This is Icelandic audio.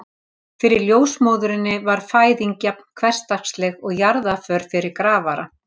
Fyrir ljósmóðurinni var fæðing jafn hversdagsleg og jarðarför fyrir grafara.